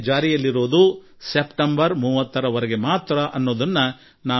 ಇದರ ಜೊತೆಯಲ್ಲೇ ಈ ಯೋಜನೆ ಸೆಪ್ಟೆಂಬರ್ 30ರ ವರೆಗೆ ಮಾತ್ರ ಇದು ಜಾರಿಯಲ್ಲಿರುತ್ತದೆ